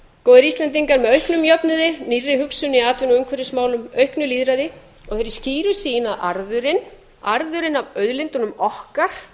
góðir íslendingar með auknum jöfnuði nýrri hugsun í atvinnu og umhverfismálum auknu lýðræði og þeirri skýru sýn að arðurinn arðurinn af auðlindunum okkar